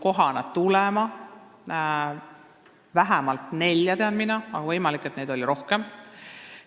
Mina tean vähemalt nelja, aga võimalik, et neid oli rohkem.